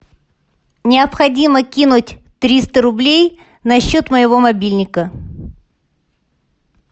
необходимо кинуть триста рублей на счет моего мобильника